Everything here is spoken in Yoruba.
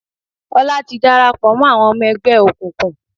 Ọlá ti dàràpọ̀ mọ́ àwọn ọmọ ẹgbẹ́ òkùnkùn.